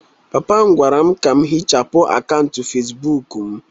papa m gwara m ka ihichapụ akaụntụ Facibụkụ m